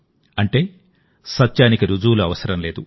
అంటే సత్యానికి రుజువులు అవసరం లేదు